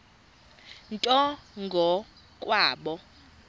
nto ngo kwabo